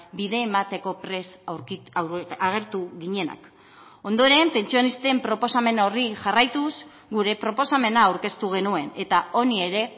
bide emateko prest agertu ginenak ondoren pentsionisten proposamen horri jarraituz gure proposamena aurkeztu genuen eta honi ere